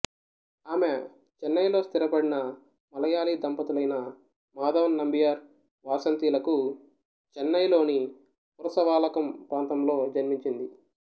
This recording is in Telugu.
ఆమె చెన్నైలో స్థిరపడిన మలయాళీ దంపతులైన మాధవన్ నంబియార్ వాసంతి లకు చెన్నైలోని పురసవాలకం ప్రాంతంలో జన్మించింది